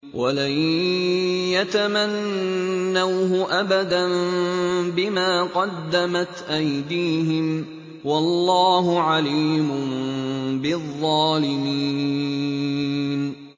وَلَن يَتَمَنَّوْهُ أَبَدًا بِمَا قَدَّمَتْ أَيْدِيهِمْ ۗ وَاللَّهُ عَلِيمٌ بِالظَّالِمِينَ